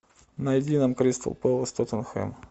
найди нам кристал пэлас тоттенхэм